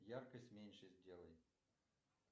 яркость меньше сделай